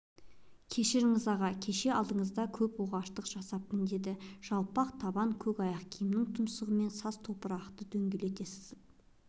кешіріңіз аға кеше алдыңызда көп оғаштық жасаппын деді жайпақ табан көк аяқ киімінің тұмсығымен саз топырақты дөңгелете сызып